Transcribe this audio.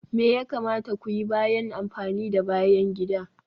Me ya kamata ku yi bayan amfani da bayan gida?